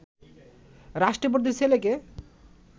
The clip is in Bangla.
রাষ্ট্রপতির ছেলেকে